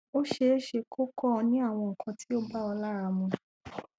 ó ṣeéṣeeé kó kó o ní awon nǹkan tí ò bá ọ lára mu